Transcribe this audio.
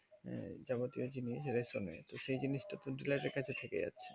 আঃ যাবতীয় জিনিস তো সেই জিনিস তা কিন্তু ডিলারের কাছে থেকে যাবে